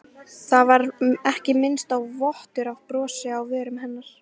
Það var ekki minnsti vottur af brosi á vörum hennar.